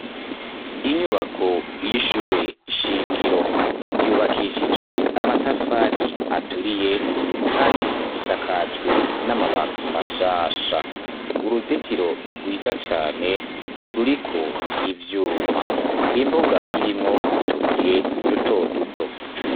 Inyubako y`ishuri shingiro yubakishijwe amatafari aturiye kandi isakajwe n`amabati mashasha uruzitiro rwiza cane ruriko iivyuma imbuga irimwo utubuye duto duto.